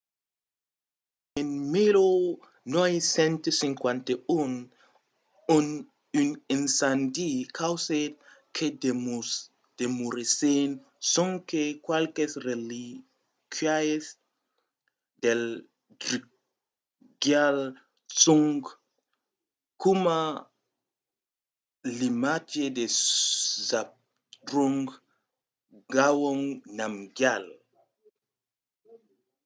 en 1951 un incendi causèt que demorèssen sonque qualques relíquias del drukgyal dzong coma l'imatge de zhabdrung ngawang namgyal